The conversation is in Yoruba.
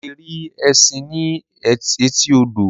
A lè rí ẹṣin ní etí odò.